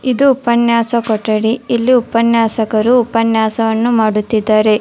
ಇದು ಉಪನ್ಯಾಸಕ ಕೊಠಡಿ ಇಲ್ಲಿ ಉಪನ್ಯಾಸಕರು ಉಪನ್ಯಾಸವನ್ನು ಮಾಡುತ್ತಿದ್ದಾರೆ.